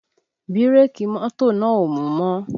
Bírèkì mọ́tò náà ò mú mọ́